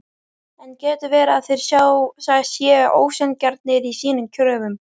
En getur verið að þeir séu ósanngjarnir í sínum kröfum?